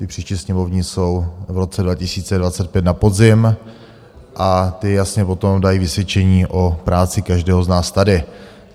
Ty příští, sněmovní, jsou v roce 2025 na podzim a ty jasně potom dají vysvědčení o práci každého z nás tady.